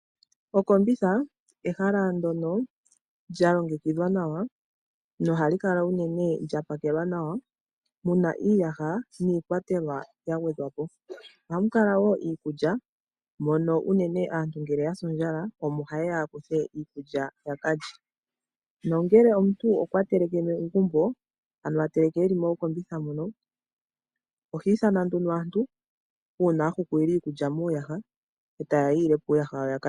Okombitha ehala ndyoka lya longekidhwa nawa nohali kala unene lya pakelwa nawa mu na iiyaha, iikwatelwa nayimwe wo ya gwedhwa po. Ohamu kala wo iikulya ngele ya sa ondjala omo haye ya kuthe iikulya ya ka lye. Ngele omuntu okwateleke e li mokombitha moka, oha ithana nduno aantu uuna a hukulila iikulya muuyaha, yi ile po uuyaha wawo ya ka lye.